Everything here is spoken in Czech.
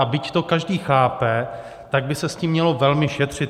A byť to každý chápe, tak by se s tím mělo velmi šetřit.